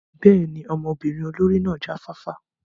Bẹ́ẹ̀ni, ọmọbirin olori náa ja fafa.